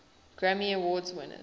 grammy award winners